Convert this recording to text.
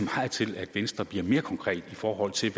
meget til at venstre bliver mere konkret i forhold til